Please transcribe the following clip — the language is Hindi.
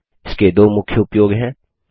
इसके दो मुख्य उपयोग हैं